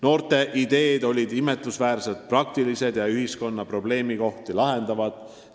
Noorte ideed olid imetlusväärselt praktilised ja ühiskonna probleemkohti lahendavad.